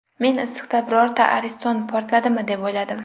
Men issiqda birorta ariston portladimi deb o‘yladim.